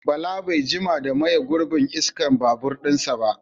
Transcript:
Bala bai jima da maye gurbin iskar babur ɗinsa ba